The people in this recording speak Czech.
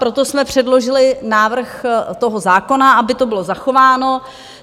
Proto jsme předložili návrh toho zákona, aby to bylo zachováno.